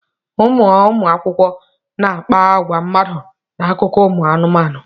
Ụmụ anụmanụ na-akpa agwa mmadụ n'akụkọ ụmụ anụmanụ.